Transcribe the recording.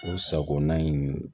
O sagona in